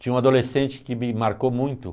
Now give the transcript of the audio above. Tinha um adolescente que me marcou muito.